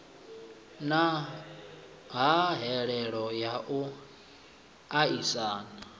na hahelelo ya u aisana